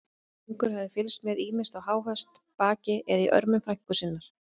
Drengur hafði fylgst með, ýmist á háhesti, baki eða í örmum frænku sinnar.